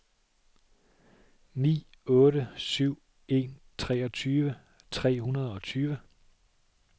ni otte syv en treogtyve tre hundrede og tyve